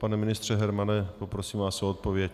Pane ministře Hermane, poprosím vás o odpověď.